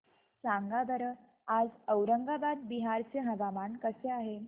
सांगा बरं आज औरंगाबाद बिहार चे हवामान कसे आहे